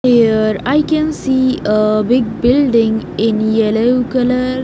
Here I can see a big building in yellow color.